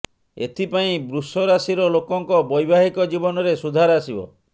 ଏଥିପାଇଁ ବୃଷ ରାଶିର ଲୋକଙ୍କ ବୈବାହିକ ଜୀବନରେ ସୁଧାର ଆସିବ